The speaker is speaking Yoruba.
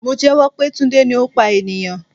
Mo jẹ́wọ́ pé Tunde ni ó pa ènìyàn.